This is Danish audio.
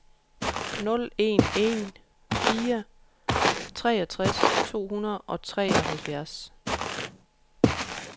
nul en en fire treogtres to hundrede og treoghalvfjerds